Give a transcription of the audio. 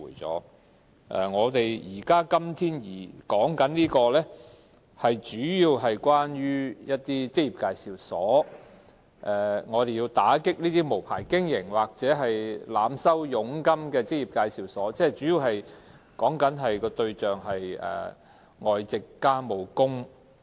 本會今天討論的法案，主要是針對職業介紹所，我們要打擊無牌經營或濫收佣金的職業介紹所，它們的主要對象為外籍傭工。